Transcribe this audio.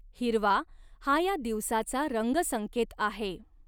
हिरवा हा या दिवसाचा रंगसंकेत आहे.